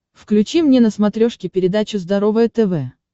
включи мне на смотрешке передачу здоровое тв